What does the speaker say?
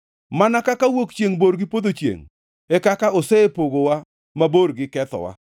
mana kaka wuok chiengʼ bor gi podho chiengʼ, e kaka osepogowa mabor gi kethowa.